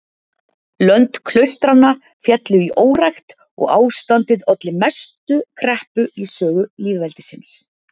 Lönd klaustranna féllu í órækt og ástandið olli mestu kreppu í sögu lýðveldisins.